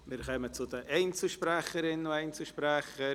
Wir kommen zu den Einzelsprecherinnen und Einzelsprechern.